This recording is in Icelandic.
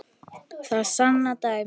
Það sanna dæmin.